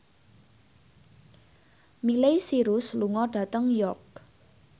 Miley Cyrus lunga dhateng York